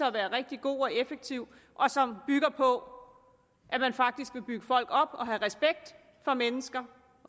at være rigtig god og effektiv og som bygger på at man faktisk vil bygge folk op og have respekt for mennesker